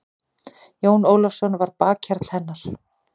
Jón Ólafsson var bakhjarl hennar.